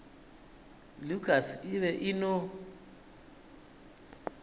lukas e be e no